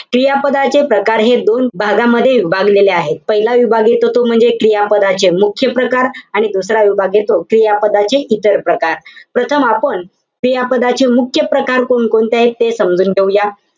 क्रियापदाचे प्रकार हे दोन भागामध्ये विभागलेले आहेत. पाहिला विभाग येतो तो म्हणजे, क्रियापदाचे मुख्य प्रकार. आणि दसरा विभाग येतो, क्रियापदाचे इतर प्रकार. प्रथम आपण क्रियापदाचे मुख्य प्रकार कोणकोणते आहे ते समजून घेऊया.